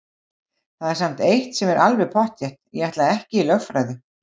Það er samt eitt sem er alveg pottþétt: Ég ætla ekki í lögfræði!